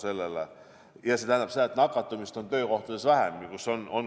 See tähendab seda, et nakatumist on töökohtades vähem.